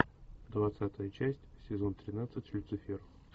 двадцатая часть сезон тринадцать люцифер